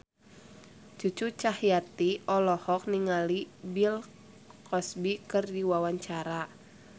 Cucu Cahyati olohok ningali Bill Cosby keur diwawancara